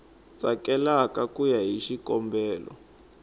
tsakelaka ku ya hi xikombelo